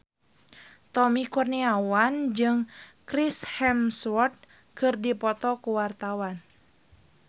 Tommy Kurniawan jeung Chris Hemsworth keur dipoto ku wartawan